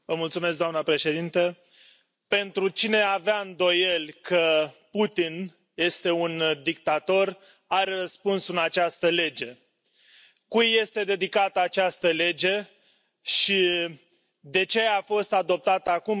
Doamnă președintă, pentru cine avea îndoieli că Putin este un dictator, are răspunsul în această lege. Cui îi este dedicată această lege și de ce a fost adoptată acum?